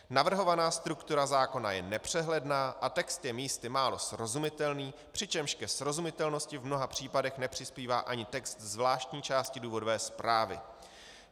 Navrhovaná struktura zákona je nepřehledná a text je místy málo srozumitelný, přičemž ke srozumitelnosti v mnoha případech nepřispívá ani text zvláštní části důvodové zprávy.